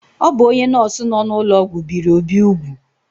O bụ onye nọọsụ nọ n’ụlọọgwụ biri Obi úgwù.